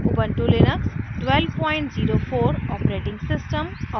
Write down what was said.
ubuntu Linux 1204 os और